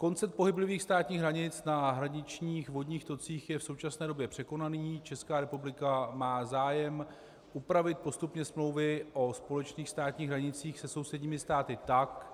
Koncept pohyblivých státních hranic na hraničních vodních tocích je v současné době překonaný, Česká republika má zájem upravit postupně smlouvy o společných státních hranicích se sousedními státy tak,